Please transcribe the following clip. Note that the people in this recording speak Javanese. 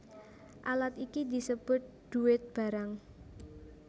Alat iki disebut dhuwit barang